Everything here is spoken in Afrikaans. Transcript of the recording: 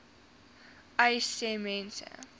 uys sê mense